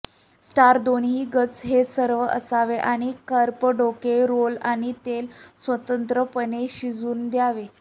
starch दोन्ही गज हे सर्व असावे आणि कार्प डोके रोल आणि तेल स्वतंत्रपणे शिजू द्यावे